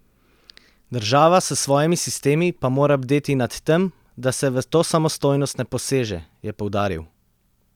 Država s svojimi sistemi pa mora bdeti nad tem, da se v to samostojnost ne poseže, je poudaril.